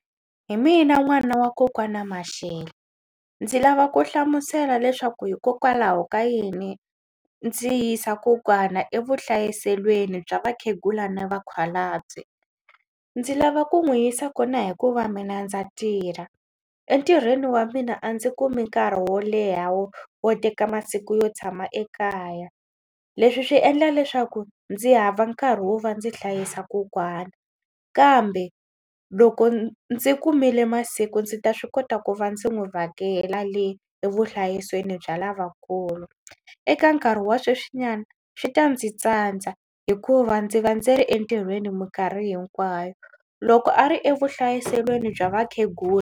Hi mina n'wana wa kokwana Mashele ndzi lava ku hlamusela leswaku hikokwalaho ka yini ndzi yisa kokwana evuhlayiselweni bya vakhegula na vakhalabye. Ndzi lava ku n'wi yisa kona hikuva mina ndza tirha entirhweni wa mina a ndzi kumi nkarhi wo leha wo wo teka masiku yo tshama ekaya. Leswi swi endla leswaku ndzi hava nkarhi wo va ndzi hlayisa kokwana kambe loko ndzi kumile masiku ndzi ta swi kota ku va ndzi n'wi vhakela le evuhlayiselweni bya lavakulu. Eka nkarhi wa sweswinyana swi ta ndzi tsandza hikuva ndzi va ndzi ri entirhweni mikarhi hinkwayo loko a ri evuhlayiselweni bya vakhegula.